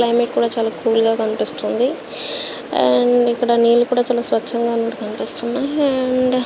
climate కూడా చాలా cool గ కనిపెస్తుంది అండ్ ఇక్కడ నీళ్ళు కూడా ఇక్కడ చాలా స్వచగా కనిపెస్తున్నాయి అండ్ --